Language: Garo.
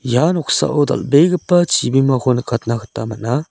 ia noksao dal·begipa chibimako nikatna gita man·a.